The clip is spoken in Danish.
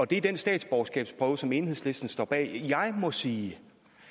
den statsborgerskabsprøve som enhedslisten står bag jeg må sige